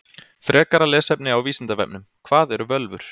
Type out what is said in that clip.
Frekara lesefni á Vísindavefnum: Hvað eru völvur?